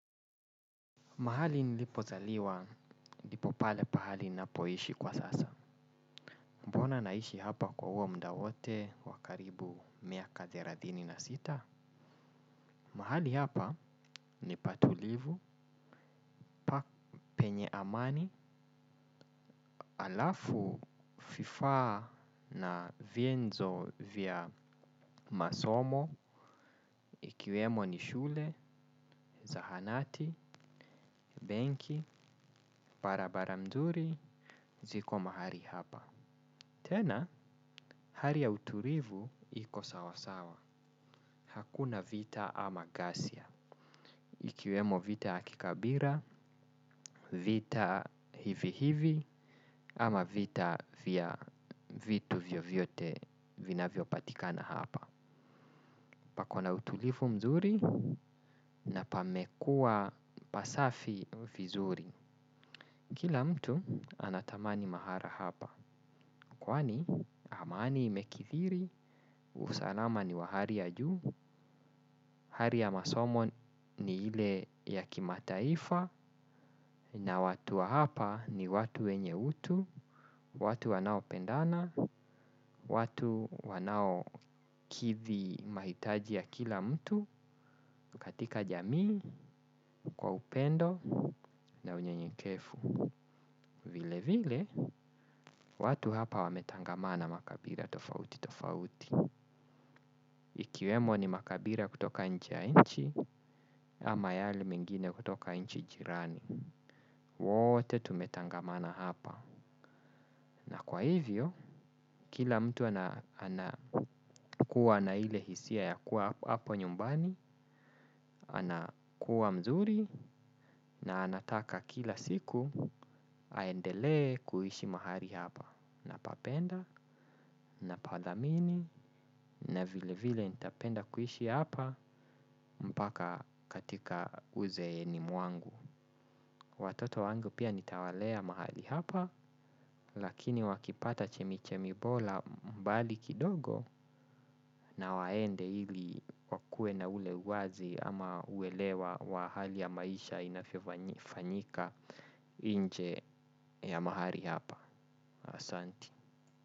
Mahali nilipozaliwa, ndipo pale pahali ninapoishi kwa sasa. Mbona naishi hapa kwa huo mda wote wa karibu miaka thelathini na sita? Mahali hapa ni pa tulivu, pa penye amani, alafu vifaa na vienzo vya masomo, ikiwemo ni shule, zahanati, benki, barabara mzuri, ziko mahali hapa. Tena, hali ya utulivu iko sawa sawa. Hakuna vita ama gasia. Ikiwemo vita ya kikabila, vita hivi hivi ama vita vya vitu vyovyote vinavyopatikana hapa. Pako na utulivu mzuri na pamekuwa pasafi vizuri. Kila mtu anatamani mahala hapa. Kwani amani imekithiri, usalama ni wa hali ya juu hali ya masomo ni ile ya kimataifa. Na watu wa hapa ni watu wenye utu. Watu wanaopendana. Watu wanaokithi mahitaji ya kila mtu. Katika jamii kwa upendo na unyenyekevu. Vile vile watu hapa wametangamana makabila tofauti tofauti. Ikiwemo ni makabila kutoka nje ya nchi ama yale mengine kutoka nchi jirani. Wote tumetangamana hapa. Na kwa hivyo kila mtu anakuwa na ile hisia ya kuwa hapo nyumbani. Anakuwa mzuri na anataka kila siku aendelee kuishi mahali hapa, napapenda napathamini na vile vile ntapenda kuishi hapa mpaka katika uzeeni mwangu. Watoto wangu pia nitawalea mahali hapa. Lakini wakipata chemichemi bora mbali kidogo na waende ili wakuwe na ule uwazi ama uelewa wa hali ya maisha inavyofanyika nje ya mahali hapa. Asanti.